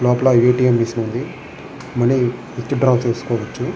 లోపల A. T. M. Machine వుంది money withdraw చేసుకోవచ్చును.